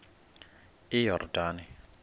iyordane